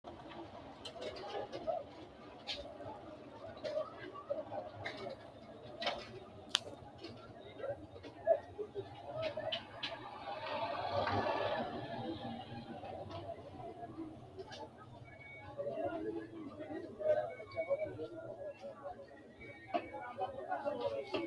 Xagga qixxeessinanni garinninna xagisanno ogeessinni ka’ne nna yineenna egennantanno Xagga qixxeessinanni garinninna xagisanno ogeessinni ka’ne nna yineenna egennantanno Xagga qixxeessinanni.